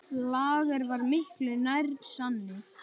Lager var miklu nær sanni.